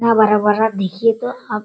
इतना बड़ा-बड़ा देखिए तो --